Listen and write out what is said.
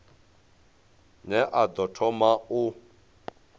ne a ḓo thoma u